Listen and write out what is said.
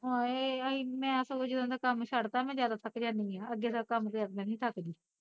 ਹਾਏ ਅਸੀਂ ਮੈਂ ਸਗੋਂ ਜਦੋਂ ਦਾ ਕੰਮ ਛੱਡਤਾ ਮੈਂ ਜਿਆਦਾ ਥੱਕ ਜਾਂਦੀ ਆ ਅੱਗੇ ਤਾਂ ਕੰਮ ਤੇ ਕਦੇ ਨੀ ਸੀ ਥੱਕ ਦੀ